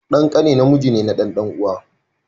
Dan ƙane namiji ne na dan dan'uwaka.